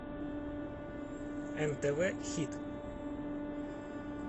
нтв хит